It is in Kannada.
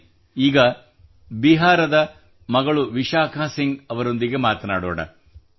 ಬನ್ನಿ ಈಗ ಬಿಹಾರದ ಮಗಳು ವಿಶಾಖಾ ಸಿಂಗ್ ಅವರೊಂದಿಗೆ ಮಾತನಾಡೋಣ